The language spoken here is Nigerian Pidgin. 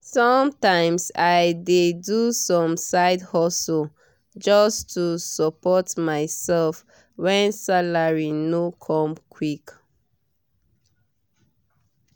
sometimes i dey do some side hustle just to support myself when salary no come quick